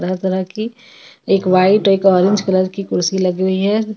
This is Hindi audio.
लग रहा है कि एक व्हाइट एक ऑरेंज कलर की कुर्सी लगी हुई है.